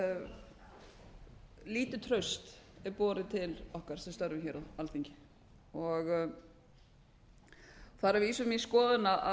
hve lítið traust er borið til okkar sem störfum á alþingi það er að vísu mín skoðun að